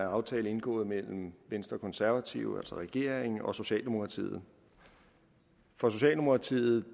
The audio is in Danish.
aftale indgået mellem venstre og konservative altså regeringen og socialdemokratiet for socialdemokratiet